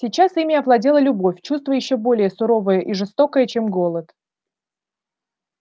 сейчас ими овладела любовь чувство ещё более суровое и жестокое чем голод